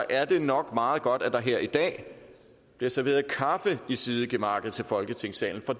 er det nok meget godt at der her i dag bliver serveret kaffe i sidegemakket til folketingssalen for